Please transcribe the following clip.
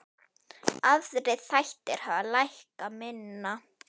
Aðrir þættir hafa lækkað minna.